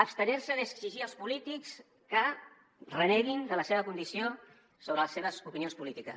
abstenir se d’exigir als polítics que reneguin de la seva condició sobre les seves opinions polítiques